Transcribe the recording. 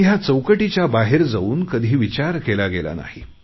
पण या चौकटीच्या बाहेर जाऊन कधी विचार केला गेला नाही